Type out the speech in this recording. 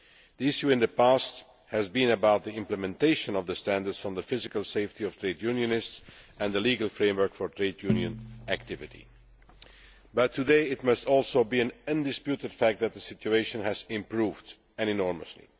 The issue in the past has been about implementation of the standards on the physical safety of trade unionists, and the legal framework for trade union activity, but today it must also be an undisputed fact that the situation has improved enormously.